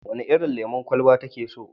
Wene irin lemon kwalaba take so?